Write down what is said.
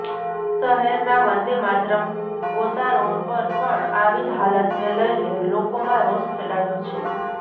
શહેરનાં વંદેમાતરમ ગોતા રોડ પર પણ આવી જ હાલતને લઈને લોકોમાં રોષ ફેલાયો છે